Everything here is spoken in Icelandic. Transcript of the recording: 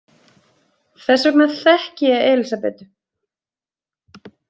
Þess vegna þekki ég Elísabetu.